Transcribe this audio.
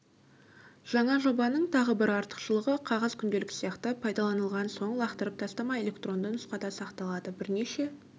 жаңа жобаның тағы бір артықшылығы қағаз күнделік сияқты пайдаланылған соң лақтырып тастамай электронды нұсқада сақталады бірнеше